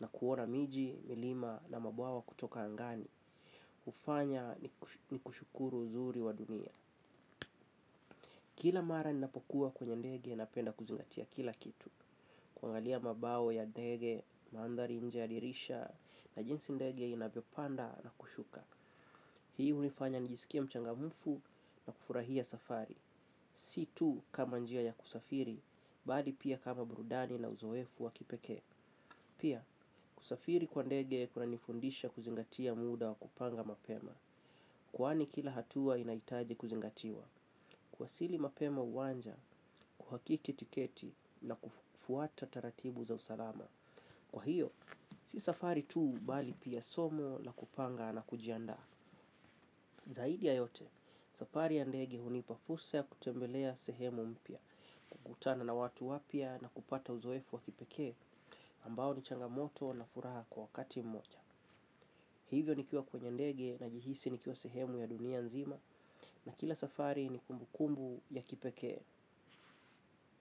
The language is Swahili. na kuona miji, milima na mabwawa kutoka angani. Hufanya ni kushukuru uzuri wa dunia. Kila mara ninapokuwa kwenye ndege napenda kuzingatia kila kitu. Kuangalia mabawa ya ndege, mandhari nje ya dirisha na jinsi ndege inavyopanda na kushuka. Hii hunifanya nijisikie mchangamfu na kufurahia safari. Si tu kama njia ya kusafiri, bali pia kama burudani na uzoefu wa kipekee. Pia, kusafiri kwa ndege kunanifundisha kuzingatia muda wa kupanga mapema. Kwani kila hatua inahitaji kuzingatiwa. Kuwasili mapema uwanja, kuhakiki tiketi na kufuata taratibu za usalama. Kwa hiyo, si safari tu bali pia somo la kupanga na kujiandaa. Zaidi ya yote, safari ya ndege hunipa fursa ya kutembelea sehemu mpya kutana na watu wapya na kupata uzoefu wa kipekee ambao ni changamoto na furaha kwa wakati mmoja. Hivyo nikiwa kwenye ndege najihisi nikiwa sehemu ya dunia nzima na kila safari ni kumbukumbu ya kipekee.